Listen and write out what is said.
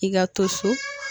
I ka to so